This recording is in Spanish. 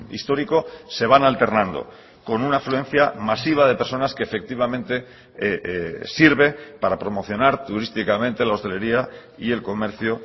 histórico se van alternando con una afluencia masiva de personas que efectivamente sirve para promocionar turísticamente la hostelería y el comercio